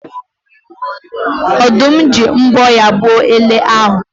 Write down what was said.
Ọ̀dụ́m ji mbọ́ ya gbuo ele ahụ